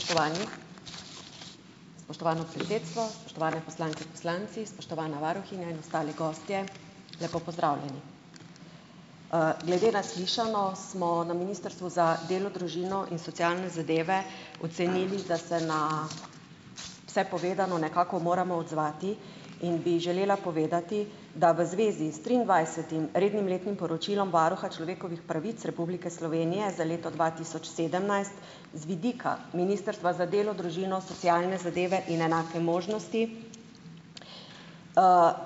Spoštovani, spoštovano predsedstvo, spoštovane poslanke in poslanci, spoštovana varuhinja in ostali gostje, lepo pozdravljeni. Glede na slišano, smo na ministrstvu za delo, družino in socialne zadeve ocenili, da se na vse povedano nekako moramo odzvati. In bi želela povedati, da v zvezi s triindvajsetim rednim letnim poročilom varuha človekovih pravic Republike Slovenije za leto dva tisoč sedemnajst z vidika ministrstva za delo, družino, socialne zadeve in enake možnosti,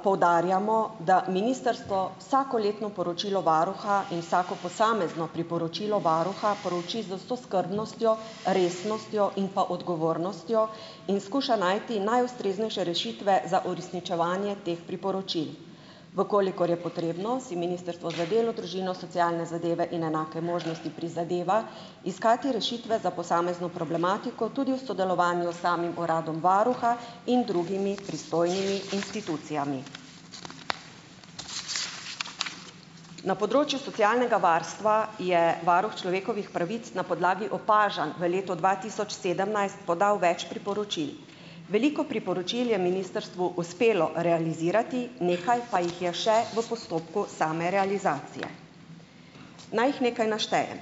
poudarjamo, da ministrstvo vsakoletno poročilo varuha in vsako posamezno priporočilo varuha prouči z vso skrbnostjo, resnostjo in pa odgovornostjo in skuša najti najustreznejše rešitve za uresničevanje teh priporočil. V kolikor je potrebno, si ministrstvo za delo, družino, socialne zadeve in enake možnosti prizadeva iskati rešitve za posamezno problematiko tudi v sodelovanju s samim uradom varuha in drugimi pristojnimi institucijami. Na področju socialnega varstva je varuh človekovih pravic na podlagi opažanj v letu dva tisoč sedemnajst podal več priporočil. Veliko priporočil je ministrstvu uspelo realizirati, nekaj pa jih je še v postopku same realizacije. Naj jih nekaj naštejem.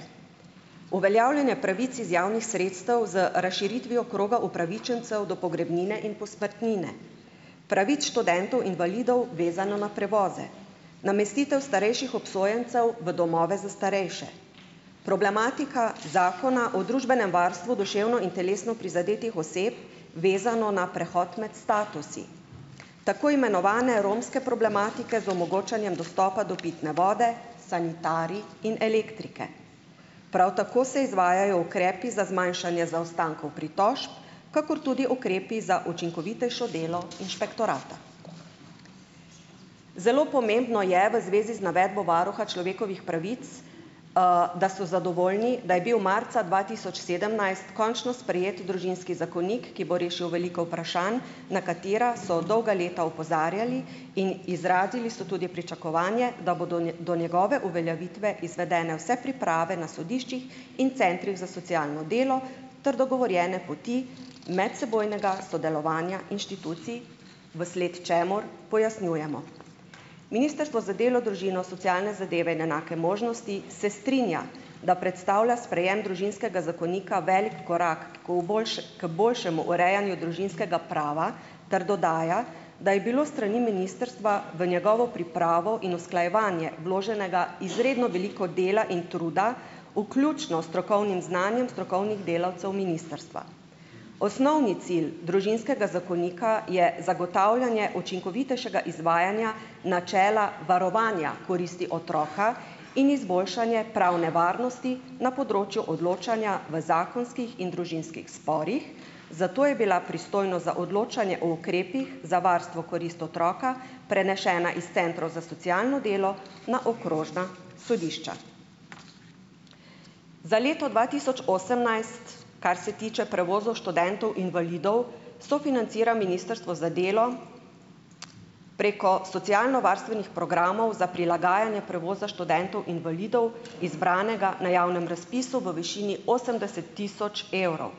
Uveljavljanje pravic iz javnih sredstev z razširitvijo kroga upravičencev do pogrebnine in posmrtnine, pravic študentov invalidov, vezano na prevoze, namestitev starejših obsojencev v domove za starejše, problematika zakona o družbenem varstvu duševno in telesno prizadetih oseb, vezano na prehod med statusi, tako imenovane romske problematike z omogočanjem dostopa do pitne vode, sanitarij in elektrike. Prav tako se izvajajo ukrepi za zmanjšanje zaostankov pritožb, kakor tudi ukrepi za učinkovitejše delo inšpektorata. Zelo pomembno je v zvezi z navedbo varuha človekovih pravic, da so zadovoljni, da je bil marca dva tisoč sedemnajst končno sprejet družinski zakonik, ki bo rešil veliko vprašanj, na katera so dolga leta opozarjali, in izrazili so tudi pričakovanje, da bodo, ne, do njegove uveljavitve izvedene vse priprave na sodiščih in centrih za socialno delo ter dogovorjene poti medsebojnega sodelovanja inštitucij, v sled čemur pojasnjujemo. Ministrstvo za delo, družino, socialne zadeve in enake možnosti se strinja, da predstavlja sprejem družinskega zakonika velik korak kot boljše, kot boljšemu urejanju družinskega prava ter dodaja, da je bilo s strani ministrstva v njegovo pripravo in usklajevanje vloženega izredno veliko dela in truda, vključno s strokovnim znanjem strokovnih delavcev ministrstva. Osnovni cilj družinskega zakonika je zagotavljanje učinkovitejšega izvajanja načela varovanja koristi otroka in izboljšanje pravne varnosti na področju odločanja v zakonskih in družinskih sporih, zato je bila pristojnost za odločanje o ukrepih za varstvo korist otroka prenešena iz centrov za socialno delo na okrožna sodišča. Za leto dva tisoč osemnajst, kar se tiče prevozov študentov invalidov, sofinancira ministrstvo za delo preko socialnovarstvenih programov za prilagajanje prevoza študentov invalidov, izbranega na javnem razpisu v višini osemdeset tisoč evrov.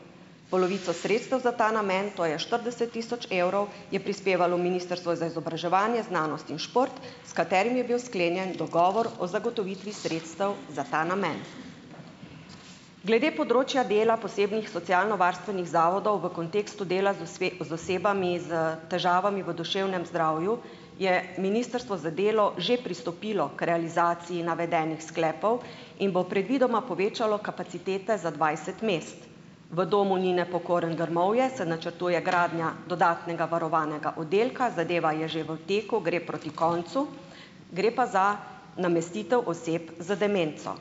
Polovico sredstev za ta namen, to je štirideset tisoč evrov, je prispevalo ministrstvo za izobraževanje, znanost in šport, s katerim je bil sklenjen dogovor o zagotovitvi sredstev za ta namen. Glede področja dela posebnih socialnovarstvenih zavodov v kontekstu dela z osebami s težavami v duševnem zdravju je ministrstvo za delo že pristopilo k realizaciji navedenih sklepov in bo predvidoma povečalo kapacitete za dvajset mest. V domu Nine Pokorn Grmovja se načrtuje gradnja dodatnega varovanega oddelka, zadeva je že v teku, gre proti koncu. Gre pa za namestitev oseb z demenco.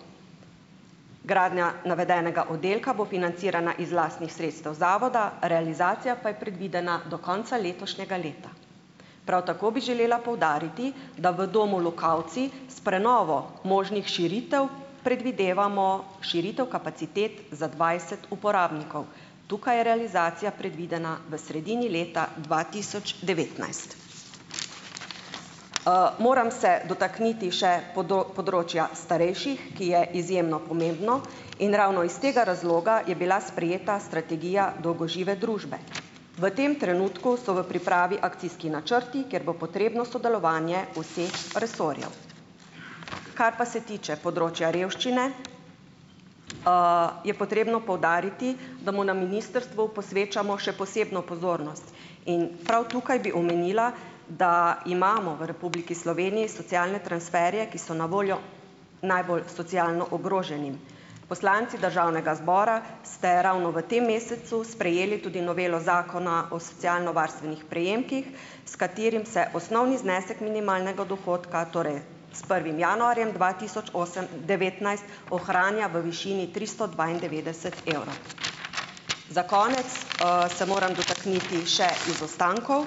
Gradnja navedenega oddelka bo financirana iz lastnih sredstev zavoda, realizacija pa je predvidena do konca letošnjega leta. Prav tako bi želela poudariti, da v domu Lokavci s prenovo možnih širitev predvidevamo širitev kapacitet za dvajset uporabnikov. Tukaj je realizacija predvidena v sredini leta dva tisoč devetnajst. Moram se dotakniti še področja starejših, ki je izjemno pomembno, in ravno iz tega razloga je bila sprejeta strategija dolgožive družbe. V tem trenutku so v pripravi akcijski načrti, kjer bo potrebno sodelovanje vseh resorjev. Kar pa se tiče področja revščine, je potrebno poudariti, da mu na ministrstvu posvečamo še posebno pozornost. In prav tukaj bi omenila, da imamo v Republiki Sloveniji socialne transferje, ki so na voljo najbolj socialno ogroženim. Poslanci državnega zbora ste ravno v tem mesecu sprejeli tudi novelo zakona o socialnovarstvenih prejemkih, s katerim se osnovni znesek minimalnega dohodka, torej s prvim januarjem dva tisoč osem devetnajst ohranja v višini tristo dvaindevetdeset evro. Za konec se moram dotakniti še izostankov.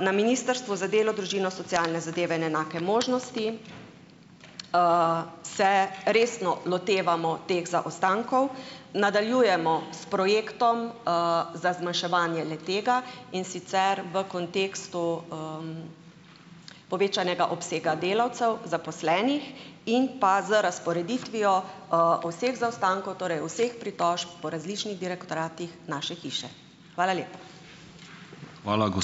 Na ministrstvu za delo, družino, socialne zadeve in enake možnosti, se resno lotevamo teh zaostankov. Nadaljujemo s projektom, za zmanjševanje le-tega, in sicer v kontekstu, povečanega obsega delavcev, zaposlenih in pa z razporeditvijo, vseh zaostankov, torej vseh pritožb po različnih direktoratih naše hiše. Hvala lepa.